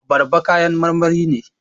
Abarba kayan marmari ne